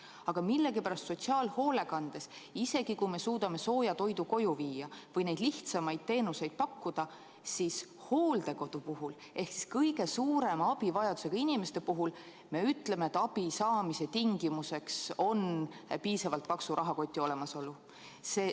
Aga millegipärast sotsiaalhoolekandes, isegi kui me suudame sooja toidu koju viia või neid lihtsamaid teenuseid pakkuda, siis hooldekodu puhul ehk siis kõige suurema abivajadusega inimeste puhul me ütleme, et abi saamise tingimuseks on piisavalt paksu rahakoti olemasolu.